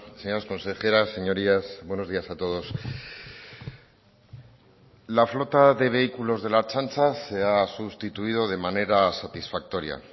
señoras consejeras señorías buenos días a todos la flota de vehículos de la ertzaintza se ha sustituido de manera satisfactoria